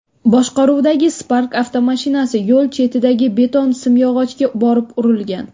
boshqaruvidagi Spark avtomashinasi yo‘l chetidagi beton simyog‘ochga borib urilgan.